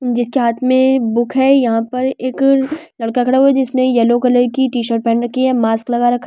जिसके हाथ में बुक है यहां पर एक लड़का खड़ा हुआ है जिसने येलो कलर की टीशर्ट पहन रखी है मास्क लगा रखा --